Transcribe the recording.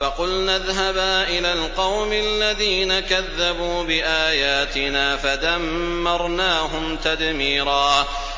فَقُلْنَا اذْهَبَا إِلَى الْقَوْمِ الَّذِينَ كَذَّبُوا بِآيَاتِنَا فَدَمَّرْنَاهُمْ تَدْمِيرًا